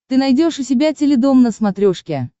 ты найдешь у себя теледом на смотрешке